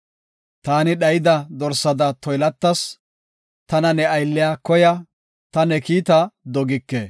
Taani dhayida dorsada toylatas; tana ne aylliya koya; ta ne kiita dogike.